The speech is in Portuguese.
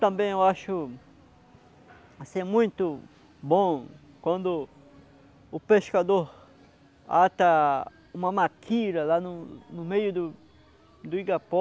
Também eu acho assim, é muito bom quando o pescador ata uma maquira lá no no meio do do igapó